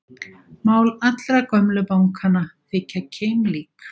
Mál allra gömlu bankanna þykja keimlík